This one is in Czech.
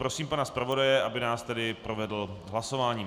Prosím pana zpravodaje, aby nás tedy provedl hlasováním.